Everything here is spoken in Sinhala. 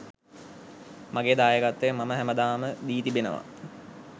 මගේ දායකත්වය මම හැමදාම දී තිබෙනවා.